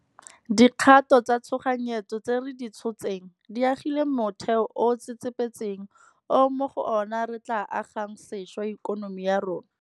Dikgato tsa tshoganyetso tse re di tshotseng di agile motheo o o tsetsepetseng o mo go ona re tla agang sešwa ikonomi ya rona.